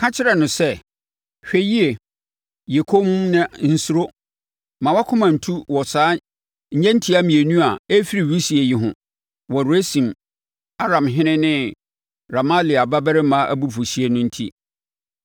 Ka kyerɛ no sɛ, ‘Hwɛ yie, yɛ komm na nsuro. Mma wʼakoma ntu wɔ saa nnyentia mmienu a ɛrefiri wisie yi ho; wɔ Resin Aramhene ne Remalia babarima abufuhyeɛ no enti.